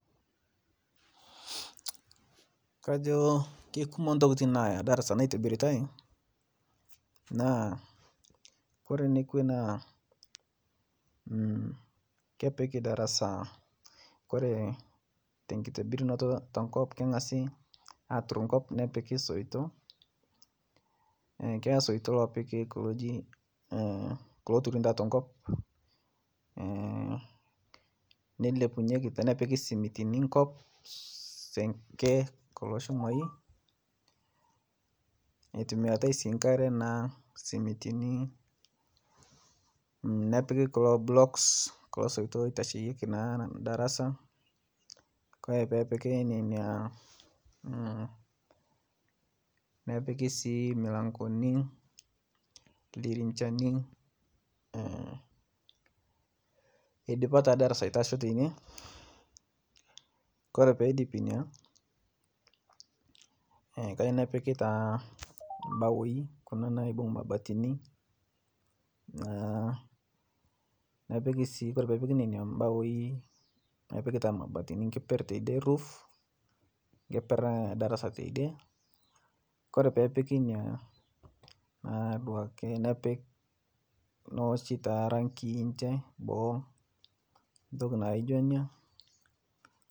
Kajo keikumo ntokitin nayaa darasa naitibiriai naa kore nekwee naa kore nekwee kepikii darasa kore tenkibirinotoo tenkop kengasii atur nkop nepikii soitoo keyaa soitoo lopikii kuloo ejii loturunii taa tenkop neilepunyeki tenepikii simitinii nkop senkee kuloo chumai eitumiaritai sii nkaree naa simitinii nepikii kuloo blocks kuloo soitoo naa eitasheyekii naa darasaa kore peepiki nenia nepikii sii mulangonii ldirinshani eidipaa taa darasaa aitashoo teinie kore peidipii inia kajoo nepikii taa mbawoi kuna naibung' mabatinii naa nepikii sii koree peepiki bawoi nepikii taa mabatinii nkeper teidie roof nkeper edarasaa teidie kore peepiki inia naa duakee nepik nooshi taa rangi nje boo ntoki naijo inia.